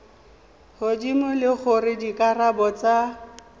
godimo le gore dikarabo tsa